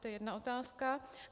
To je jedna otázka.